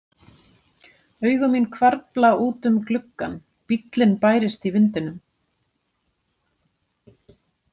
Augu mín hvarfla út um gluggann, bíllinn bærist í vindinum.